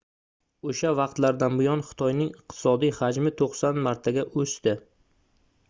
oʻsha vaqtlardan buyon xitoyning iqtisodiy hajmi 90 martaga oʻsdi